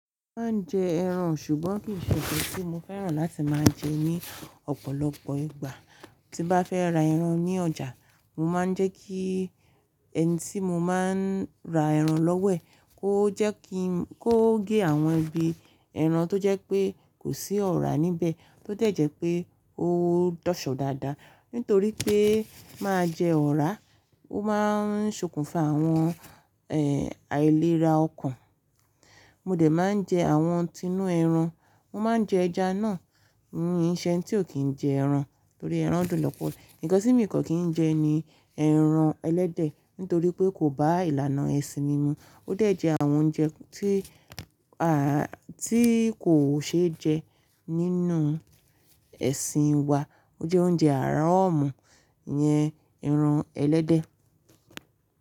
Mo máa ń jẹ ẹran ṣùgbọ́n kii ṣe nkan tí mo fẹ́ràn láti máa jẹ ní ọ̀pọ̀lọpọ̀ ìgbà. Tí n bá fẹ́ ra ẹran ní ọjà, mo máa ń jẹ́ kí ẹni tí mo máa ń ra ẹran lọ́wọ́ ẹ̀ kó gé àwọn ibi ẹran tó jẹ́ pé kò sí ọ̀rá níbẹ̀ tó dẹ̀j ẹ́ pé ó dọ̀ṣọ́ dáadáa. Nítorí pé máa jẹ ọ̀rá, ó máa ń ṣokùnfà àwọn ẹ́, àìlera ọkàn. Mo dẹ̀ máa ń jẹ àwọn tinú ẹran, mo máa ń jẹ ẹja náà, mii ṣe ẹ́ni tí ò kí ń jẹ ẹran torí ẹran dùn lọ́pọ̀. Nkan tí mii kan kí ń jẹ ni ẹran ẹlẹ́dẹ̀ nítorí pé kò bá ìlànà ẹ̀sìn mi mu. Ó de jẹ́ àwọn oúnjẹ tí a, tí kò ṣe é jẹ nínú ẹ̀sìn wa. Ó jẹ́ oúnjẹ haram, iyẹn, ẹran ẹlẹ́dẹ̀.